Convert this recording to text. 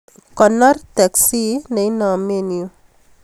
Konor teksi neinomen yuu